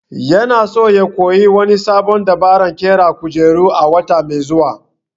Yana so ya koyi wani sabon dabaran ƙera kujeru a wata mai zuwa